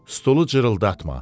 Stulu cırıldatma.